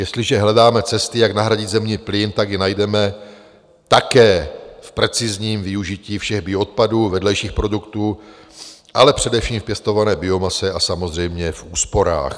Jestliže hledáme cesty, jak nahradit zemní plyn, tak je najdeme také v precizním využití všech bioodpadů, vedlejších produktů, ale především v pěstované biomase a samozřejmě v úsporách.